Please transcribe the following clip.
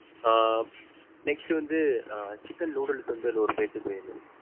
ஆஹ் next வந்து chicken noodles வந்து நூறு பேத்துக்கு வேணும்.